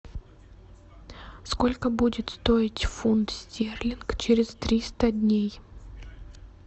сколько будет стоить фунт стерлинг через триста дней